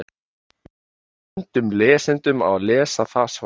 Við bendum lesendum á að lesa það svar.